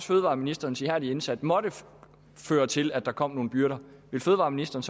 fødevareministerens ihærdige indsats måtte føre til at der kom nogle byrder ville fødevareministeren